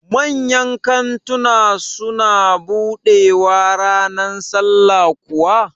Manyan kantuna su na buɗewaa ranar sallah kuwa?